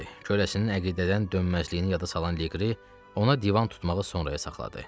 Köləsinin əqidədən dönməzliyini yada salan Liqri ona divan tutmağı sonraya saxladı.